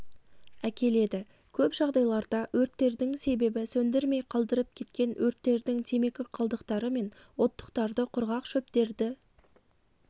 әкеледі көп жағдайларда өрттердің себебі сөндірмей қалдырып кеткен өрттердің темекі қалдықтары мен оттықтарды құрғақ шөптерді